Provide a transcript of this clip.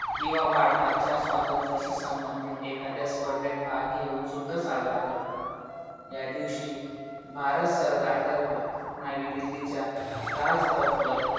किंवा भारताच्या स्वातंत्र्याशी संबंधित एखाद्या स्पर्धेत भाग घेऊन सुद्धा साजरा करतात. या दिवशी भारत सरकार तर्फे नवी दिल्लीच्या राजपथवर